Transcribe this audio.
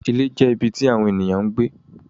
Ìlẹ̀ jẹ́ ibí tí awọn ènìyàn ń gbẹ.